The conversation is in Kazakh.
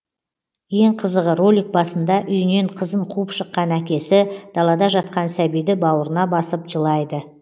ең қызығы ролик басында үйінен қызын қуып шықан әкесі далада жатқан сәбиді бауырына басып жылайды